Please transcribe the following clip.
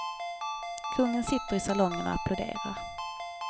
Kungen sitter i salongen och applåderar.